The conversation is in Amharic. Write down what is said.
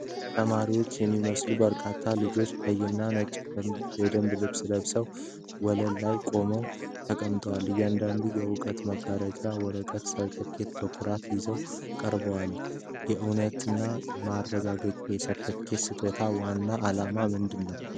ተማሪዎች የሚመስሉ በርካታ ልጆች ቀይና ነጭ ደንብ ልብስ ለብሰው ወለል ላይ ቆመዋል/ተቀምጠዋል። እያንዳንዳቸው የእውቅና ማረጋገጫ ወረቀት (ሰርተፍኬት) በኩራት ይዘው ቀርበዋል። የእውቅና ማረጋገጫ የሰርተፍኬት አሰጣጥ ዋና ዓላማ ምንድነው?